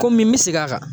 Komi n bɛ segin a kan